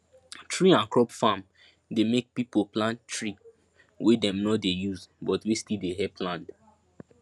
tree and crop farm dey make people plant tree wey dem no dey use but wey still dey help land